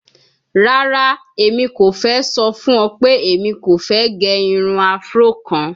Rara, Emi ko fẹ sọ fun ọ pe Emi ko fẹ ge irun Afro kan